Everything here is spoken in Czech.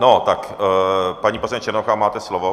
No, tak, paní poslankyně Černochová, máte slovo.